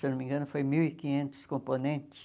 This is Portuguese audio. Se não me engano, foi mil e quinhentos componentes.